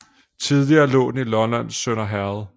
Tidligere lå den i Lollands Sønder Herred